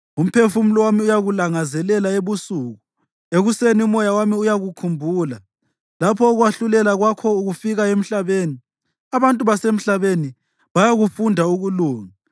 Umphefumulo wami uyakulangazelela ebusuku, ekuseni umoya wami uyakukhumbula. Lapho ukwahlulela kwakho kufika emhlabeni, abantu basemhlabeni bayakufunda ukulunga.